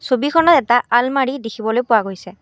ছবিখনত এটা আলমাৰি দেখিবলৈ পোৱা গৈছে।